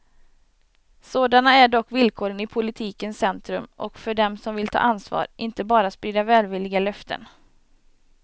Sådana är dock villkoren i politikens centrum och för dem som vill ta ansvar, inte bara sprida välvilliga löften.